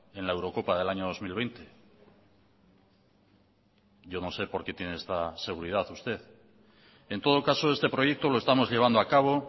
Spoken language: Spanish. en la eurocopa del año dos mil veinte yo no sé por qué tiene esta seguridad usted en todo caso este proyecto lo estamos llevando a cabo